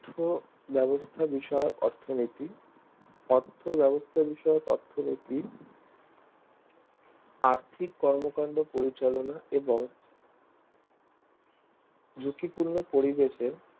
অর্থ ব্যবস্থা বিষয়ে অর্থনীতি অর্থ ব্যবস্থা বিষয়ক অর্থনীতি আর্থিক কর্মকান্ড পরিচালনা এবং ঝুঁকি পূর্ণ পরিবেশে